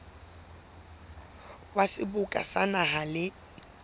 wa seboka sa naha le